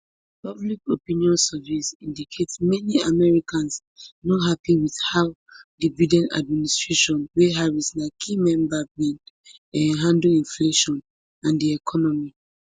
public opinion surveys indicate many americans no happy wit how di biden administration wey harris na key member bin um handle inflation and di economy